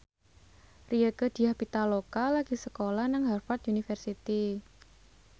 Rieke Diah Pitaloka lagi sekolah nang Harvard university